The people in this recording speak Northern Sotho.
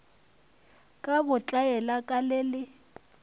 ka botlaela ka le le